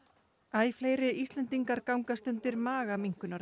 æ fleiri Íslendingar gangast undir